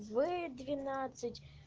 в двенадцать